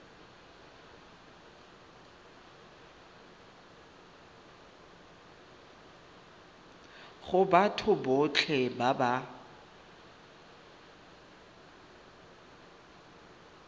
go batho botlhe ba ba